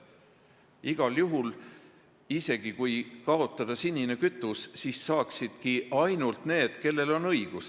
Ja igal juhul, isegi kui sinine kütus kaotada, saaksid toetust ainult need, kellel on selleks õigus.